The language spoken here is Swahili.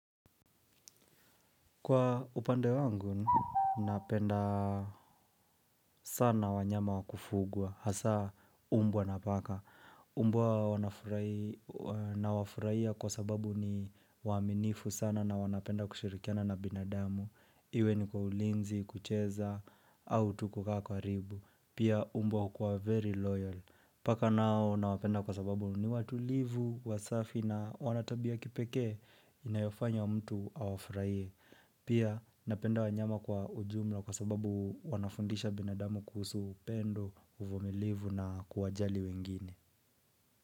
Kwa upande wangu, napenda sana wanyama wa kufugwa. Hasa, mbwa na paka. Mbwa huwa nawafurahia kwa sababu ni waminifu sana na wana penda kushirikiana na binadamu. Iwe ni kwa ulinzi, kucheza, au tu kukaa karibu. Pia, mbwa hukuwa very loyal. Paka nao, nawapenda kwa sababu ni watulivu, wasafi na wana tabia ya kipekee, inayofanya mtu awafurahie. Pia napenda wanyama kwa ujumla kwa sababu wanafundisha binadamu kuhusu upendo, uvumilivu na kuwajali wengine.